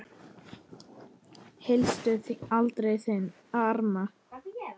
Hýstu aldrei þinn harm.